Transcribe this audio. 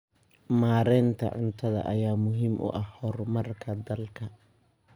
Maareynta cunnada ayaa muhiim u ah horumarka dalka.